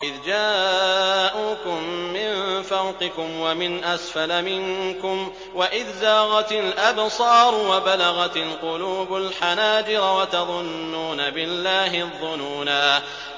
إِذْ جَاءُوكُم مِّن فَوْقِكُمْ وَمِنْ أَسْفَلَ مِنكُمْ وَإِذْ زَاغَتِ الْأَبْصَارُ وَبَلَغَتِ الْقُلُوبُ الْحَنَاجِرَ وَتَظُنُّونَ بِاللَّهِ الظُّنُونَا